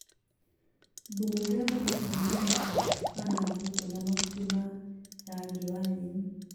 Thumu ũrĩa ũthondekagwo nĩ indũ ta ngũkũ kana mbũkũ na mahuti ma rangi wa nyeni